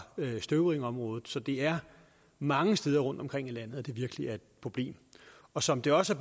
støvringområdet så det er mange steder rundtomkring i landet at det virkelig er et problem og som det også